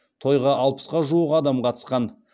тойға алпысқа жуық адам қатысқан